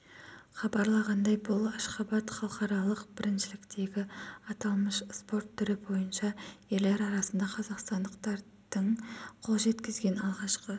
хабарлағандай бұл ашхабад халықаралық біріншіліктегі аталмыш спорт түрі бойынша ерелер арасында қазақстандықтардың қол жеткізген алғашқы